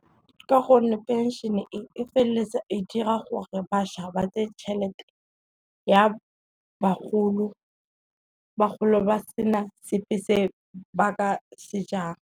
Ka gonne phenšene e e feleletsa e dira gore bašwa ba je tšhelete ya bagolo, bagolo ba sena sepe se ba ka se jang.